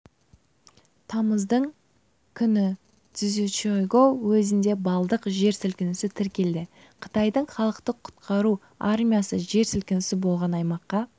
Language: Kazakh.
тамыздың күні цзючжайгоу уезінде балдық жер сілкінісі тіркелді қытайдың халықты құтқару армиясы жер сілкінісі болған аймаққа